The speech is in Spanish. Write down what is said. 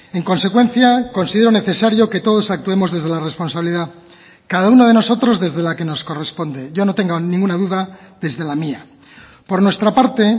en consecuencia considero necesario que todos actuemos desde la responsabilidad cada uno de nosotros desde la que nos corresponde yo no tenga ninguna duda desde la mía por nuestra parte